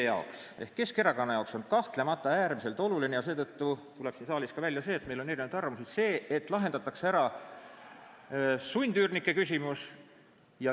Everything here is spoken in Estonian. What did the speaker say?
Meie ehk Keskerakonna arvates on kahtlemata äärmiselt oluline – seetõttu tuleb siin saalis välja ka see, et meil on erinevad arvamused –, et lahendatakse ära sundüürnike küsimus.